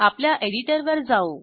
आपल्या एडिटरवर जाऊ